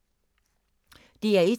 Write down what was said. DR1